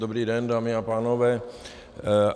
Dobrý den, dámy a pánové.